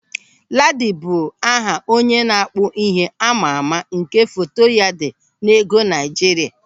Ladi bụ aha onye na-akpụ ihe amaama nke foto ya dị n'ego Naịjirịa.